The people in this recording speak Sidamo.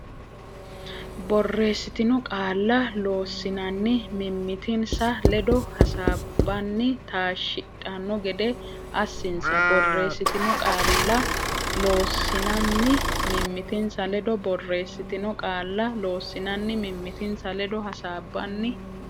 borreessitino qaalla Loossinanni mimmitinsa ledo hasaabbanni taashshidhanno gede assinsa borreessitino qaalla Loossinanni mimmitinsa ledo borreessitino qaalla Loossinanni mimmitinsa ledo hasaabbanni.